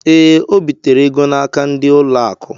Ee, o bitere ego n'aka ndị ụlọ akụ.